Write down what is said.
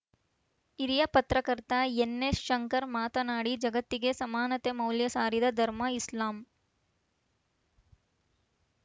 ಹಿರಿಯ ಪತ್ರಕರ್ತ ಎನ್‌ಎಸ್‌ಶಂಕರ್‌ ಮಾತನಾಡಿ ಜಗತ್ತಿಗೆ ಸಮಾನತೆ ಮೌಲ್ಯ ಸಾರಿದ ಧರ್ಮ ಇಸ್ಲಾಂ